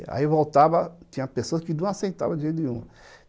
Aí voltava, tinha pessoas que não aceitavam de jeito nenhum.